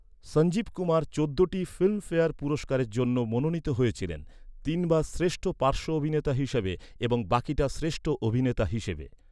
সঞ্জীব কুমার চোদ্দটি ফিল্মফেয়ার পুরস্কারের জন্য মনোনীত হয়েছিলেন, তিনবার শ্রেষ্ঠ পার্শ্ব অভিনেতা হিসেবে এবং বাকিটা শ্রেষ্ঠ অভিনেতা হিসেবে।